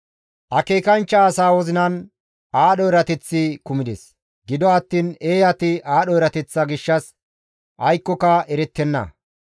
Akeekanchcha asaa wozinan aadho erateththi kumides; gido attiin eeyati aadho erateththa gishshas aykkoka erettenna.